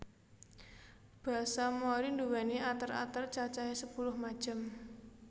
Basa Mori nduwéni ater ater cacahè sepuluh macem